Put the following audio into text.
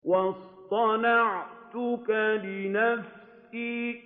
وَاصْطَنَعْتُكَ لِنَفْسِي